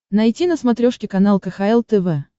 найти на смотрешке канал кхл тв